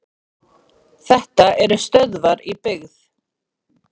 þetta eru stöðvar í byggð